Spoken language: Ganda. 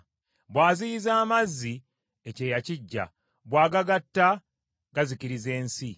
Bw’aziyiza amazzi, ekyeeya kijja, bw’agata gazikiriza ensi.